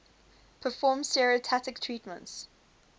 perform stereotactic treatments